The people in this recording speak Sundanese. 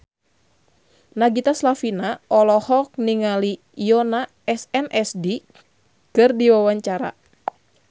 Nagita Slavina olohok ningali Yoona SNSD keur diwawancara